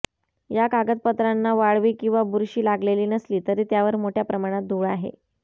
या कागदपत्रांना वाळवी किंवा बुरशी लागलेली नसली तरी त्यावर मोठ्या प्रमाणात धूळ आहे